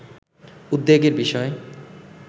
উদ্বেগের বিষয়